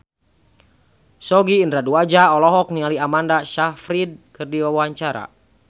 Sogi Indra Duaja olohok ningali Amanda Sayfried keur diwawancara